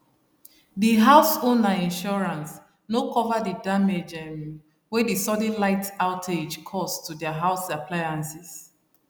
di house owner insurance no cover the damage um wey the sudden light outage cause to their house appliances